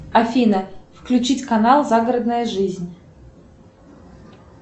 афина включить канал загородная жизнь